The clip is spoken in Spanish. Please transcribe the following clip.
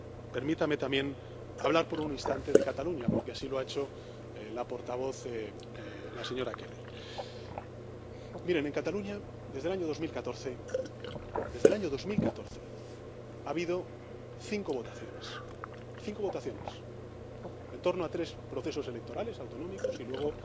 Permítame también hablar por un instante de Cataluña, porque así lo ha hecho la portavoz, la señora Keller. En primer lugar. En Cataluña, desde el año 2014, desde el año 2014, ha habido cinco votaciones, cinco votaciones, en torno a tres procesos electorales autonómicos y luego